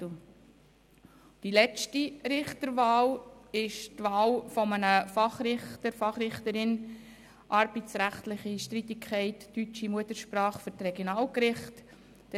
Bei der letzten Richterwahl geht es um die Wahl einer Fachrichterin oder eines Fachrichters in arbeitsrechtlichen Streitigkeiten deutscher Muttersprache für die Regionalgerichte.